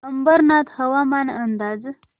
अंबरनाथ हवामान अंदाज